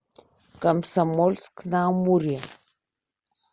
комсомольск на амуре